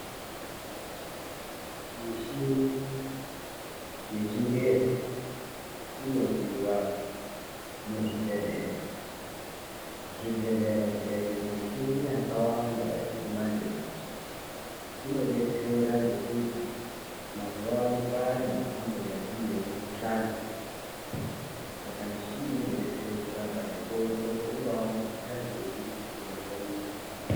Mushini yechingezi inodiwa muzvibhehlera. Zvibhehlera zvikaite mishini yakawanda yechimanje manje inodetsera ngekuti mazuwano kwane mhando nemhando yemikhuhlane. Saka mishini iyi inodetsera kurapa nekuongorora kuti Unga mukhuhlane uri unozwe muntu.